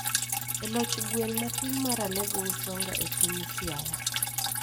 e loch gweng' matin mar Alego Usonga e piny Siaya,